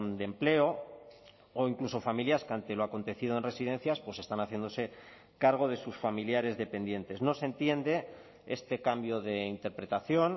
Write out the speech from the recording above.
de empleo o incluso familias que ante lo ha acontecido en residencias pues están haciéndose cargo de sus familiares dependientes no se entiende este cambio de interpretación